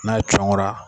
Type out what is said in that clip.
N'a cun ngara